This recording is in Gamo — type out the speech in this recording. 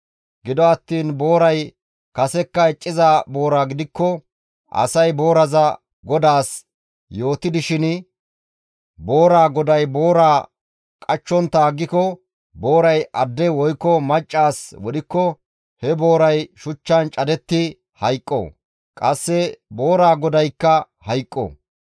Gido attiin booray kasekka icciza boora gidikko, asay booraza godaas yootidishin booraa goday booraa qachchontta aggiko, booray adde woykko macca as wodhikko he booray shuchchan cadetti hayqqo; qasse booraza godaykka hayqqo.